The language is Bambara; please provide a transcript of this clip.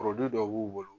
dɔ b'u bolo